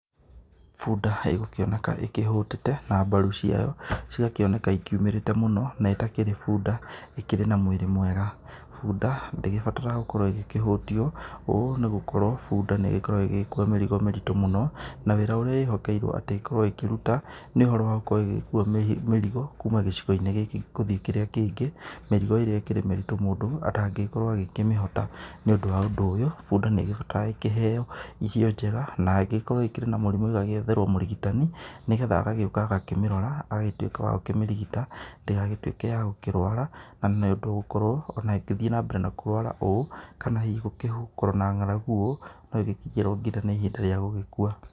Bunda, ĩgũkĩoneka ĩkĩhũtĩte na mbaru ciayo cigakĩoneka ikiumĩrĩte mũno, na ĩtakĩrĩ bunda ikĩrĩ na mwĩrĩ mwega. Bunda ndĩgĩbataraga gũkorwo ĩkĩhũtio ũũ nĩ gũkorwo bunda nĩ igĩkorwa ĩgĩgĩkua mĩrigo mĩritu mũno na wĩra ũrĩa ĩhokeirwo atĩ ĩkorwo ĩkĩruta, nĩ ũhoro wa gũkorwo ĩgĩkua mĩrigo kuuma gĩcigo-inĩ gikĩ gũthiĩ kĩrĩa kĩngĩ, mĩrigo ĩrĩa ĩkĩri mĩrĩtũ mũndũ atangĩkorwo agĩkĩmĩhota. Nĩ ũndũ wa ũndũ ũyũ, bunda nĩ ĩgĩbataraga gũkorwo ĩkĩheo irio njega na ĩngĩkorwo ĩkĩrĩ na mũrimũ ĩgagĩetherwo mũrigitani, nĩ getha agagĩũka agakĩmĩrora agagĩtuĩka wa gũkĩmĩrigita ndĩgagĩtuĩke ya gũkĩrũara na nĩ ũndũ gũkorwo ona ĩngĩthiĩ na mbere na kũrũara ũũ kana hihi gũkĩkorwo na ng'aragu ũũ no ĩgĩkinyĩrwo nginya nĩ ihinda rĩa gũgĩkua.